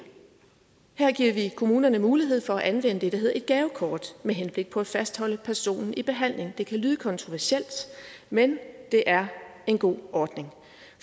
her giver vi kommunerne mulighed for at anvende det der hedder et gavekort med henblik på at fastholde personen i behandling det kan lyde kontroversielt men det er en god ordning